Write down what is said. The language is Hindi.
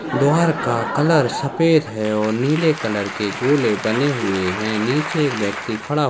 द्वाहार का कलर सफ़ेद है और नीले कलर का गोले बने हुए है नीचे एक व्यक्ति खडा --